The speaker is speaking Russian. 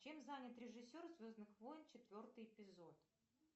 чем занят режиссер звездных войн четвертый эпизод